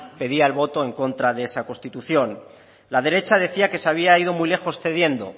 pedía el voto en contra de esa constitución la derecha decía que se había ido muy lejos cediendo